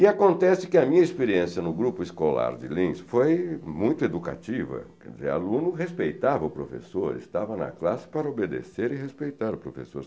E acontece que a minha experiência no grupo escolar de Linz foi muito educativa, quer dizer, aluno respeitava o professor, estava na classe para obedecer e respeitar o professor.